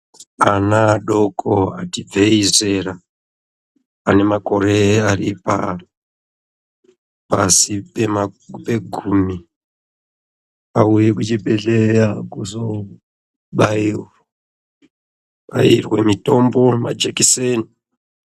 Ana adoko ati ibveyi zera ane makore ari pasi pe gumi auye kuchibhehleya kuzobairwa mitombo yemajekiseni